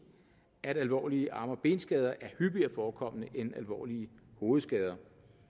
at alvorlige arm og benskader er hyppigere forekommende end alvorlige hovedskader